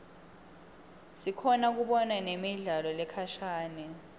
sikhona kubona nemidlalo lekhashane